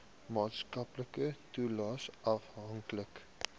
maatskaplike toelaes afhanklik